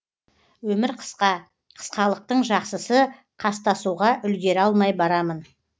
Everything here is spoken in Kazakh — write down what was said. өмір қысқа қысқалықтың жақсысы қастасуға үлгере алмай барамын